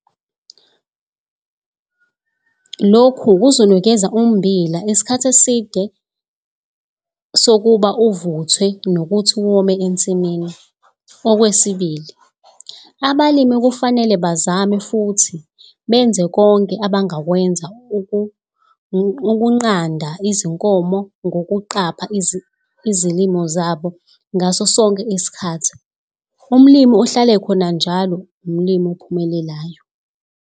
Lokhu kuzonikeza ummbila isikhathi eside sokuba uvuthwe nokuthi wome ensimini. Okwesibili, abalimi kufanele bezame futhi benze konke abangakwenza ukungqanda izinkomo ngokuqapha izilimo zabo ngaso sonke isikhathi. Umlimi ohlala ekhona njalo umlimi ophumelelayo.